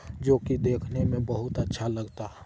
जो की देखने में बहुत अच्छा लगता --